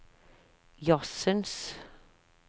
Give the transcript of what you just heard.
jazzens